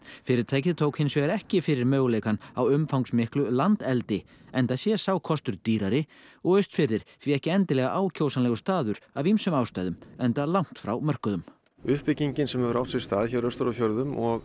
fyrirtækið tók hins vegar ekki fyrir möguleikann á umfangsmiklu landeldi enda sé sá kostur dýrari og Austfirðir því ekki endilega ákjósanlegur staður af ýmsum ástæðum enda langt frá mörkuðum uppbyggingin sem hefur átt sér stað hér austur á fjörðum og